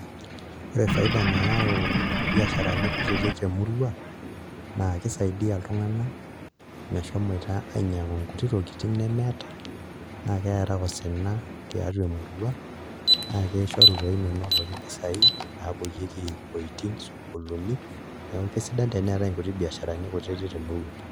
Ore faida nayaau biasharani kutitik temurua naa kisaidia iltung'anak meshomoita ainyiang'u nkutitik tokitin nemeeta naa keera osina tiatua emurua naa kishoru toi menoti mpisaai naapuoyieki iwuejitin sukuul, neeku kesidai teneetai nkutitik biasharani temurua.